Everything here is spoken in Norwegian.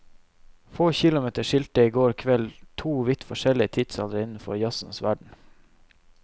Få kilometer skilte i går kveld to vidt forskjellige tidsaldre innenfor jazzens verden.